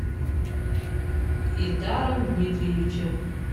ильдаром дмитриевичем